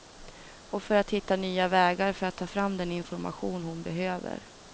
Och för att hitta nya vägar för att ta fram den information hon behöver.